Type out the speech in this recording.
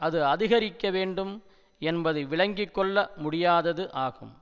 அது அதிகரிக்க வேண்டும் என்பது விளங்கி கொள்ள முடியாதது ஆகும்